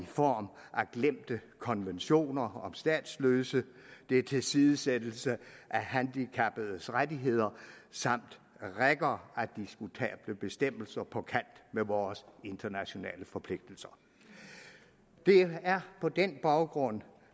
form af glemte konventioner om statsløse det er tilsidesættelse af handicappedes rettigheder samt rækker af diskutable bestemmelser på kant med vores internationale forpligtelser det er på den baggrund